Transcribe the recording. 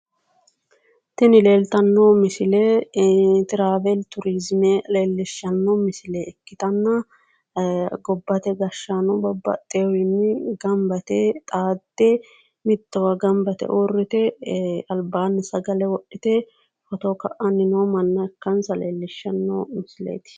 Tini leeltanno misile travile turiizime leellishshanno ikkitanna gobbate gashshanno bababxxewiinni gamaba yite xaadde mittowa gamba yite uurrite albaanni sagale wodhite footo ka'anni no manna ikkansa leellishshanno misileeti.